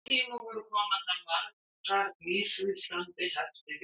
Á þessum tíma voru komnar fram margar mismunandi heftivélar.